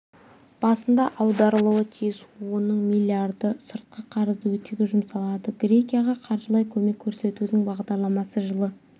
басында аударылуы тиіс оның миллиарды сыртқы қарызды өтеуге жұмсалады грекияға қаржылай көмек көрсетудің бағдарламасы жылы